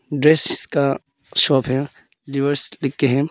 Dresses का shop है लिवर्स लिखके है।